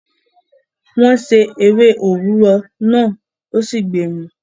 wọ́n se “ewé òrúwọ" náà ó sì gbemu.